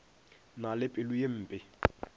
na le pelo ye mpe